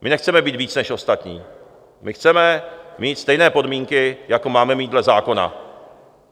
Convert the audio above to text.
My nechceme mít víc než ostatní, my chceme mít stejné podmínky, jako máme mít dle zákona.